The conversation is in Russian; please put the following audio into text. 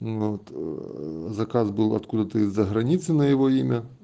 вот заказ был откуда-то из-за границы на его имя